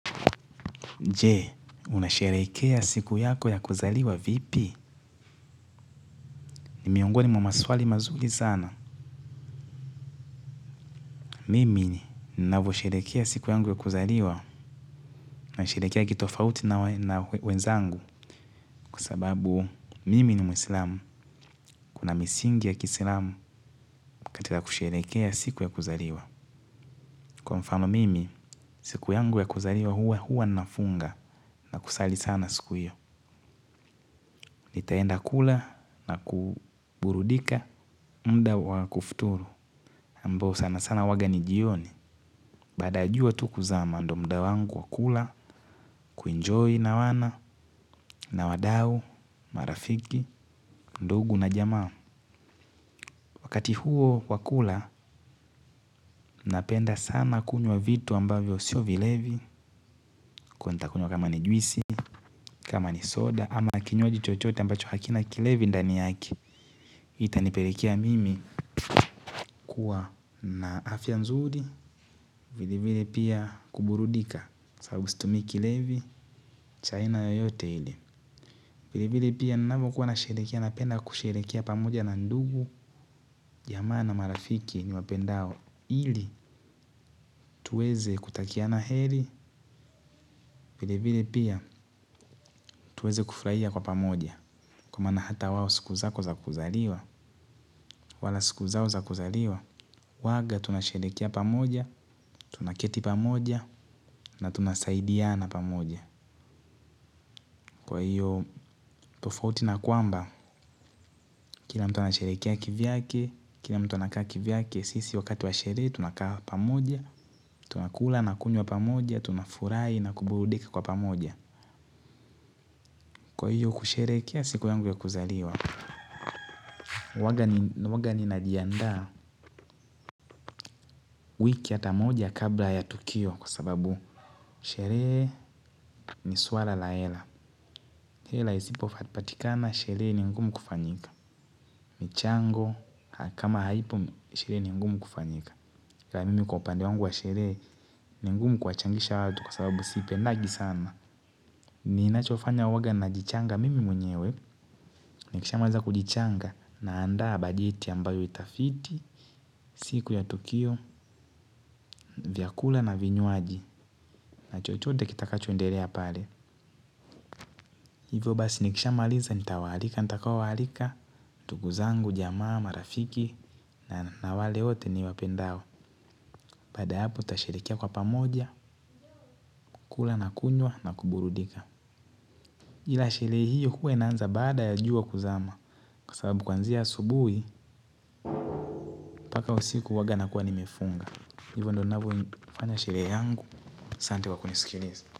Jee, unashereikea siku yako ya kuzaliwa vipi? Nimiongoni mamaswali mazuli sana. Mimi, ninafosherekea siku yangu ya kuzaliwa. Nasherekea kitofauti na wenzangu. Kusababu, mimi ni muslimu. Kuna misingi ya kislamu katika kusherekea siku ya kuzaliwa. Kwa mfano, mimi, siku yangu ya kuzaliwa huwa huwa nafunga. Na kusali sana siku yu. Nitaenda kula na kuburudika. Mda wa kufuturu. Mbo sana sana waga ni jioni. Bada ya jua tu kuzama ndo mda wangu wakula Kuinjoy na wana na wadau Marafiki Ndugu na jama. Wakati huo wakula. Napenda sana kunywa vitu ambavyo sio vilevi. Kuenta kunywa kama ni juisi kama ni soda ama kinyuaji chochote ambacho hakina kilevi ndani yake. Itaniperekea mimi kuwa na afya nzuri. Vili vile pia kuburudika. Sabu stumi kilevi chaina yoyote hili. Vile vile pia ninavo kuwa nasherekea napenda kusherekia pamoja na ndugu. Jamana marafiki ni wapendao. Hili tuweze kutakia na heri. Vile vile pia tuweze kufraia kwa pamoja. Kwa mana hata wawo siku zako za kuzaliwa wala siku zao za kuzaliwa. Waga tunasherekia pamoja. Tunaketi pamoja na tunasaidiana pamoja. Kwa hiyo tofauti na kwamba kila mtu ana sherekia kivyake. Kila mtuwa na kaki vyake. Kisisi wakati wa sheree tunakawa pamoja, tunakula na kunywa pamoja, tunafurai na kuburudika kwa pamoja. Kwa hiyo kusheree kea siku yangu ya kuzaliwa. Huwaga najianda wiki atamoja kabla ya tukio kwa sababu sheree ni suara laela. Hela isipo fatipatikana sheree ni ngumu kufanyika. Michango kama haipo sheree ni ngumu kufanyika. Kwa mimi kwa upande wangu wa sheree ni ngumu kuwa changisha watu kwa sababu sipendagi sana. Ni inachofanya uwaga na jichanga mimi mwenyewe nikishamaliza kujichanga nanda bajeti ambayo itafiti siku ya tukio vinywaji na maji. Na chochode kitaka choendelea pale. Hivo basi nikishamaaliza nitawalika, nitakaowalika tuguzangu, jama marafiki na wale wote ni wapendao. Bada hapo tasherekea kwa pamoja, kula na kunywa na kuburudika. Ila sherehe hiyo huwa inaanza baada ya jua kuzama. Kwa sababu kwanzia asubuhi, mpaka usiku huwaga na kuwa nimefunga. Hivyo ndo navyo ifanya sherehe yangu, asante kwa kunisikiliza.